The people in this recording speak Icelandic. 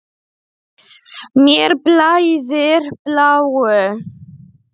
Mér blæðir bláu.